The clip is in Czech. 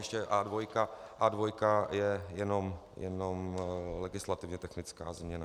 Ještě A2 je jenom legislativně technická změna.